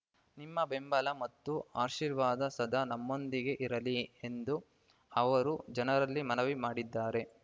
ನಿಮ್ಮ ಬೆಂಬಲ ಮತ್ತು ಆಶೀರ್ವಾದ ಸದಾ ನನ್ನೊಂದಿಗೆ ಇರಲಿ ಎಂದು ಅವರು ಜನರಲ್ಲಿ ಮನವಿ ಮಾಡಿದ್ದಾರೆ